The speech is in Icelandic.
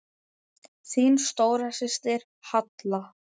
Þín stóra systir, Halla.